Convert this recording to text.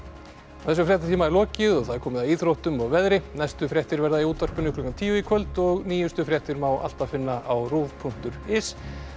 þessum fréttatíma er lokið og það er komið að íþróttum og veðri næstu fréttir verða í útvarpinu klukkan tíu í kvöld og nýjustu fréttir má alltaf finna á punktur is